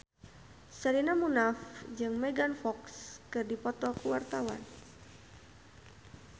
Sherina Munaf jeung Megan Fox keur dipoto ku wartawan